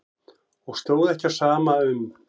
Og stóð ekki á sama um.